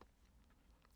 DR K